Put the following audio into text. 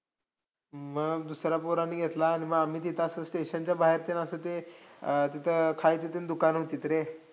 मग दुसऱ्या पोरांनी घेतला. आणि म आम्ही तिथं असं station च्या बाहेर ते अन असं ते खायचे अन ते दुकानं होतीत रे.